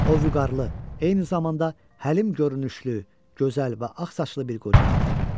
O vüqarlı, eyni zamanda həlim görünüşlü, gözəl və ağsaçlı bir qoca idi.